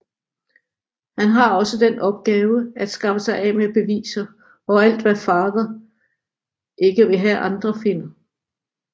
Han har også den opgave at skaffe sig af med beviser og alt hvad Father ikke vil have andre finder